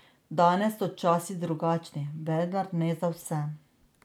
Danes so časi drugačni, vendar ne za vse.